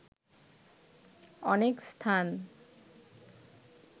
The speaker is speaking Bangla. অনেক স্থান